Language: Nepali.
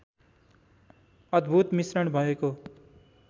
अद्भुत मिश्रण भएको